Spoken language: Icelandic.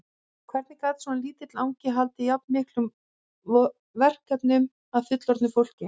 Hvernig gat svona lítill angi haldið jafn miklum verkefnum að fullorðnu fólki?